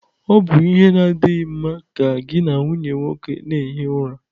Ọ bụ ihe na-adịghị mma ka gị na nwunye nwoke na-ehi ụra